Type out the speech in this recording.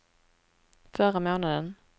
förra månaden